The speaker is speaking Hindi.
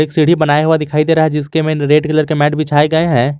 सीढ़ी बनाया हुआ दिखाई दे रहा है जिसके में रेड कलर का मैट बिछाया गया है।